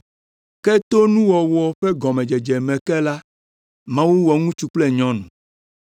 Ke tso nuwɔwɔ ƒe gɔmedzedze me ke la, Mawu wɔ ŋutsu kple nyɔnu.